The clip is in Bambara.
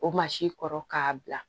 O kɔrɔ k'a bila